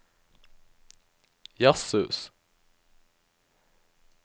jazzhus